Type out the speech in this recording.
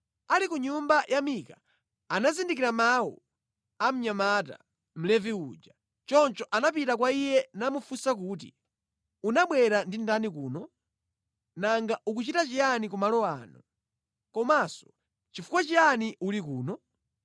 Ali ku nyumba ya Mika anazindikira mawu a mnyamata, Mlevi uja. Choncho anapita kwa iye namufunsa kuti, “Unabwera ndi ndani kuno? Nanga ukuchita chiyani ku malo ano? Komanso nʼchifukwa chiyani uli kuno?”